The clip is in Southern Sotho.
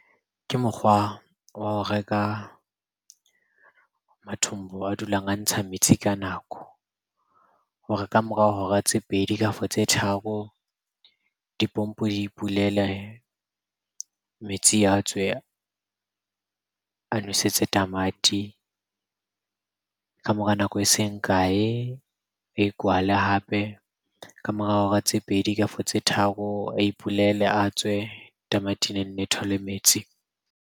Ke mokgwa wa ho reka mathombo a dulang a ntsha metsi ka nako hore ka mora hora tse pedi kafa tse tharo, dipompo di ipulele. Metsi a tswe a nwesetse tamati. Ka mora nako eseng kae, a ikwale hape. Ka mora hora tse pedi, kafo tse tharo a ipulele a tswe. Tamati ne nne thole metsi.